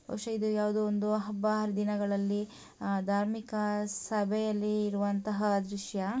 ಬಹುಶಃ ಇದು ಯಾವುದೋ ಒಂದು ಹಬ್ಬ ಹರಿದಿನಗಳಲ್ಲಿ ಧಾರ್ಮಿಕ ಸಭೆಯಲ್ಲಿ ಇರುವಂತಹ ದೃಶ್ಯ.